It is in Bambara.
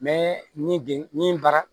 ni den ni bara